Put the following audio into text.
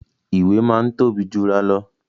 Ìwé máa ń tóbi jura lọ